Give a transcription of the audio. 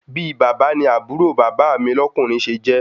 Bi bàbá ni àbúrò bàbá mi lọ́kùnrin se jẹ́